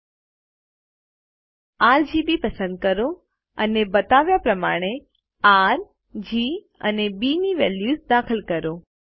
પછી આરજીબી પસંદ કરો અને બતાવ્યા પ્રમાણે આર જી અને બી ની વેલ્યુઝ દાખલ કરો